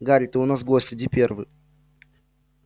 гарри ты у нас гость иди первый